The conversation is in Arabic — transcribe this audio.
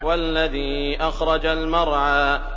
وَالَّذِي أَخْرَجَ الْمَرْعَىٰ